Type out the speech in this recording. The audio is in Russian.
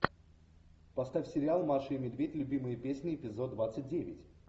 поставь сериал маша и медведь любимые песни эпизод двадцать девять